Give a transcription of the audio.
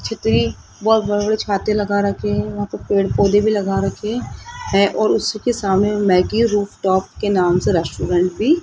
छतरी बहोत बड़े बड़े छाते लगा रखे है वहां पे पेड़ पौधे भी लगा रखे हैं हैं और उसके सामने मैगी रूफटॉप के नाम से रेस्टोरेंट भी --